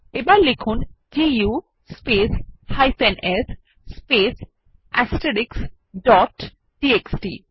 এবার লিখুন দু স্পেস s স্পেস টিএক্সটি